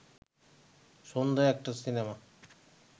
সন্ধ্যায় একটা সিনেমা